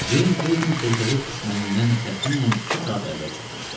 Ceyn Kleton körfəzinə düşmənindən təxminən iki saat əvvəl çatmışdı.